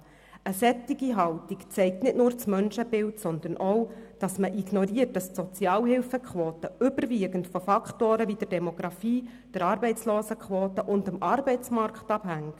Eine solche Haltung zeigt nicht nur das Menschenbild, sondern auch, dass man ignoriert, dass die Sozialhilfequote überwiegend von Faktoren wie der Demografie, der Arbeitslosenquote und dem Arbeitsmarkt abhängt.